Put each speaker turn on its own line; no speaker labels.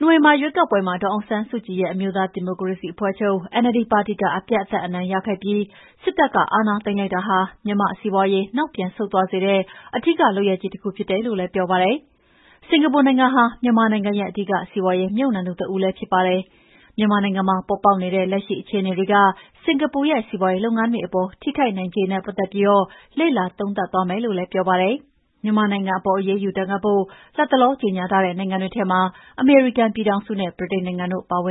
နိုဝင်ဘာရွေးကောက်ပွဲမှာ ဒေါ်အောင်ဆန်းစုကြည်ရဲ့ အမျိုးသားဒီမိုကရေစီအဖွဲ့ချုပ် NLD ပါတီက အပြတ်အသတ်အနိုင်ရခဲ့ပြီး စစ်တပ်က အာဏာသိမ်းလိုက်တာဟာ မြန်မာ့စီးပွါးရေး နောက်ပြန်ဆုတ်သွားစေတဲ့ အဓိက လုပ်ရပ်ကြီးတခုဖြစ်တယ်လို့လည်းပြောပါတယ်။ စင်္ကာပူနိုင်ငံဟာ မြန်မာနိုင်ငံရဲ့ အဓိက စီးပွါးရေးမြှုပ်နှံသူ တဦးလည်းဖြစ်ပါတယ်။ မြန်မာနိုင်ငံမှာပေါ်ပေါက်နေတဲ့ လက်ရှိအခြေအတေေွက စင်္ကာပူရဲ့ စီးပွါးရေးလုပ်ငန်းတွေအပေါ် ထိခိုက်နိုင်ခြေနဲ့ပတ်သက်ပြီး လေ့လာသုံးသပ်သွားမယ်လို့လည်းပြောပါတယ်။ မြန်မာနိုင်ငံအပေါ် အရေးယူဒဏ်ခတ်ဖို့ လတ်တလော ကြေငြာထားတဲ့နိုင်ငံတွေထဲမှာ အမေရိကန်ပြည်ထောင်စုနဲ့ ဗြိတိန်နိုင်ငံတို့ပါဝင်